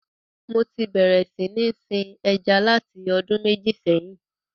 Mo ti bérè sí ní sin ẹja láti ọdún mẹ́jì sẹ́hìn.